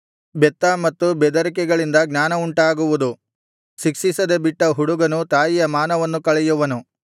ಬೆತ್ತ ಮತ್ತು ಬೆದರಿಕೆಗಳಿಂದ ಜ್ಞಾನವುಂಟಾಗುವುದು ಶಿಕ್ಷಿಸದೆ ಬಿಟ್ಟ ಹುಡುಗನು ತಾಯಿಯ ಮಾನವನ್ನು ಕಳೆಯುವನು